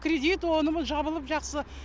кредит оны мұны жабылып жақсы